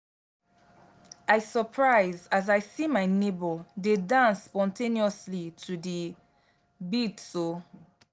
i surprise as i see my nebor dey dance spontaneously to the beats o